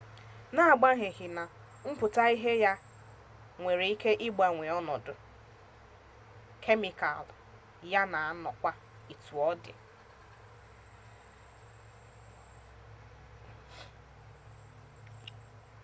n'agbanyeghi na mpụta ihe ya nwere ike ịgbanwe ọnọdụ kemịkal ya na-anọkwa etu ọ dị